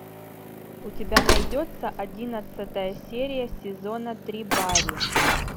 у тебя найдется одиннадцатая серия сезона три барри